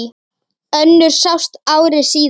Önnur sást ári síðar.